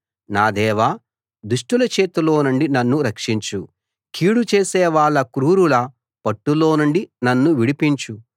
నా దేవా దుష్టుల చేతిలోనుండి నన్ను రక్షించు కీడు చేసేవాళ్ళ క్రూరుల పట్టులోనుండి నన్ను విడిపించు